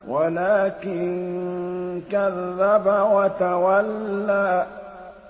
وَلَٰكِن كَذَّبَ وَتَوَلَّىٰ